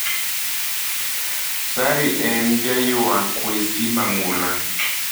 Sari en jaywaa kwesi mang'ula.